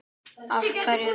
Af hverju?